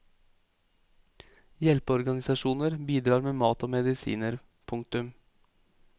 Hjelpeorganisasjoner bidrar med mat og medisiner. punktum